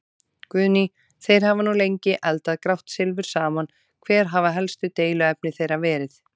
Guðný: Þeir hafa nú lengi eldað grátt silfur saman, hver hafa helstu deiluefni þeirra verið?